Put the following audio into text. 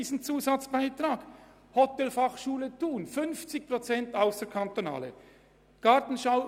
An der Hotelfachschule Thun zum Beispiel lernen 50 Prozent ausserkantonale Studierende.